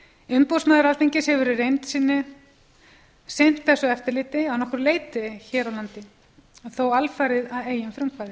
umboðsmaður alþingis hefur í reynd sinnt þessu eftirliti að nokkru leyti hér á landi þá alfarið að eigin frumkvæði